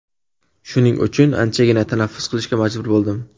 Shuning uchun, anchagina tanaffus qilishga majbur bo‘ldim.